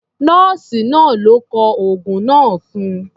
Nọ́ọ̀sì náà ló kọ oògun náà fún un.